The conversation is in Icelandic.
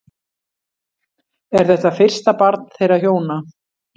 Er þetta fyrsta barn þeirra hjóna